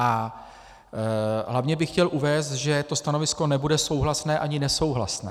A hlavně bych chtěl uvést, že to stanovisko nebude souhlasné ani nesouhlasné.